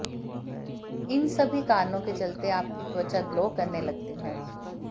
इन सभी कारणों के चलते आपकी त्वचा ग्लो करने लगती है